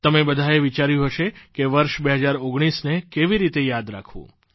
તમે બધાએ વિચાર્યું હશે કે વર્ષ 2019ને કેવી રીતે યાદ રાખવું